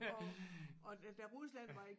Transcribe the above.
Og og da Rusland var i